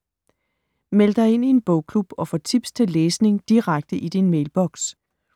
Meld dig ind i en bogklub og få tips til læsning direkte i din mailboks